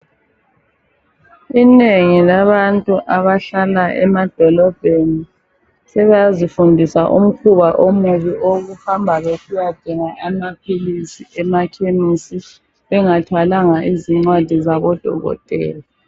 Inengi labantu abahlala zemadolobheni sebazifundisa umkhuba omubi owokuhamba besiyadinga amaphilisi emakhemisi bengathwalanga izincwadi zabo Dokotela.